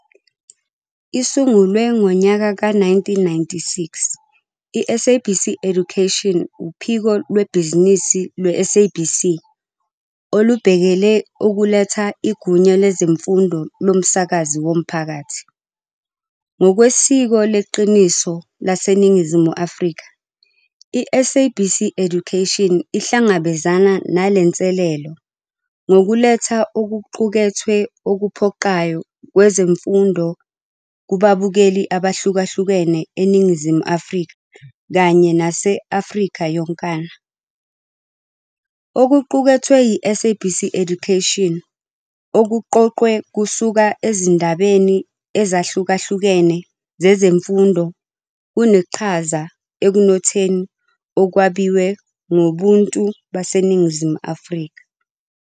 Isungulwe ngonyaka we-1996, iSABC Education wuphiko lwebhizinisi lwe-SABC olubhekele ukuletha igunya lezemfundo lomsakazi womphakathi. Ngokwesiko leqiniso laseNingizimu Afrika, iSABC Education ihlangabezana nale nselelo ngokuletha okuqukethwe okuphoqayo kwezemfundo kubabukeli abahlukahlukene eNingizimu Afrika kanye nase-Afrika yonkana. Okuqukethwe yi-SABC Education, okuqoqwe kusuka ezindabeni ezahlukahlukene zezemfundo kuneqhaza ekunotheni okwabiwe ngobuntu baseNingizimu Afrika.